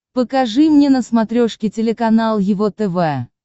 покажи мне на смотрешке телеканал его тв